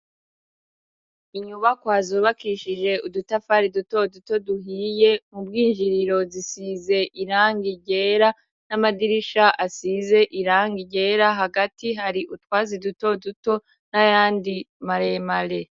Inyubakwa zubakishije udutafari dutoduto duhiye m'ubwinjiriro zisize irangi ryera n'amadirisha asize irangi ryera hagati hari utwatsi dutoduto n'ayandi maremare.